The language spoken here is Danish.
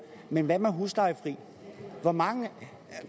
men hvad med de huslejefri hvor mange